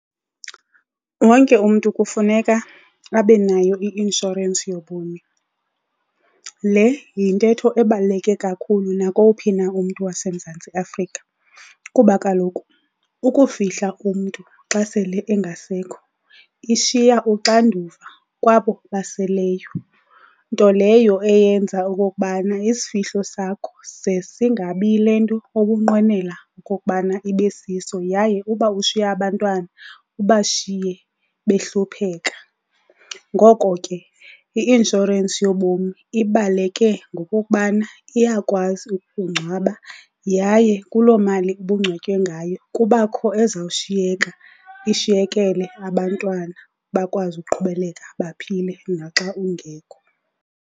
Wonke umntu kufuneka abe nayo i-inshorensi yobomi. Le yintetho ebaluleke kakhulu nakowuphi na umntu waseMzantsi Afrika kuba kaloku ukufihla umntu xa sele engasekho ishiya uxanduva kwabo baseleyo. Nto leyo eyenza okokubana isifihlo sakho ze singabi yile nto ubunqwenela okokubana ibe siso yaye uba ushiya abantwana ubashiye behlupheka. Ngoko ke i-inshorensi yobomi ibaluleke ngokokubana iyakwazi ukungcwaba yaye kuloo mali ubungcwatywe ngayo kubakho ezawushiyeka ishiyekele abantwana bakwazi uqhubeleka baphile naxa ungekho.